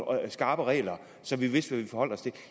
skarpe regler så vi vidste forholde os til